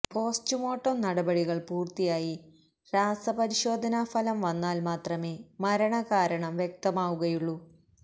post-mortem നടപടികള് പൂര്ത്തിയായി രാസപരിശോധാനാ ഫലം വന്നാല് മാത്രമേ മരണകാരണം വ്യക്തമാവുകയുള്ളൂ